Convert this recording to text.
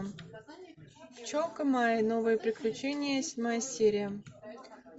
пчелка майя новые приключения седьмая серия